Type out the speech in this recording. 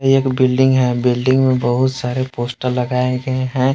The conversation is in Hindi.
एक बिल्डिंग है बिल्डिंग में बहुत सारे पोस्टर लगाए गए हैं।